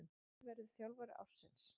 Hver verður þjálfari ársins